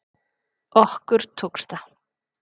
Okkur tókst það